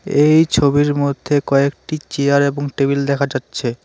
এই ছবির মধ্যে কয়েকটি চেয়ার এবং টেবিল দেখা যাচ্ছে।